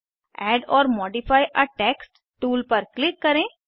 add or modify a text tool पर click करें